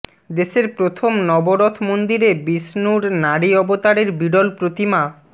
দেশের প্রথম নবরথ মন্দিরে বিষ্ণুর নারী অবতারের বিরল প্রতিমা